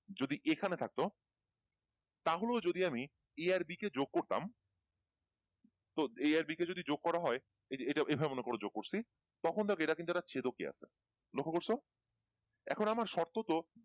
যদি এখানে থাকতো তাহলেও যদি আমি a আর B কে যোগ করতাম তো A আর b কে যদি যোগ করা হয় এটা এইভাবে মোনাকোর যোগ করছি তখন দেখো এটা কিন্তু একটা চেদকীয় আছে লক্ষ্য করছো এখন আমার শর্ত হতো